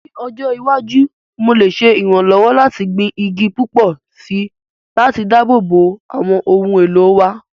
Ní ọjọ́ iwájú, mo lè ṣe ìrànlọ́wọ́ láti gbin igi púpọ̀ sí i láti dáàbò bo àwọn ohun èlò wa.